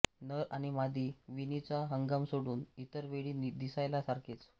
नर आणि मादी विणीचा हंगाम सोडून इतर वेळी दिसायला सारखेच